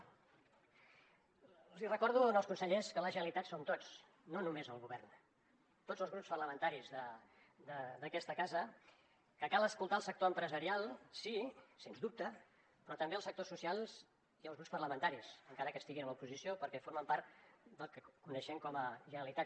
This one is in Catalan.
els recordo als consellers que la generalitat som tots no només el govern tots els grups parlamentaris d’aquesta casa que cal escoltar el sector empresarial sí sens dubte però també el sectors socials i els grups parlamentaris encara que estiguin a l’oposició perquè formen part del que coneixem com a generalitat